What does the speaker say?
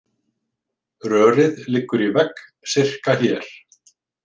Rörið liggur í vegg sirka hér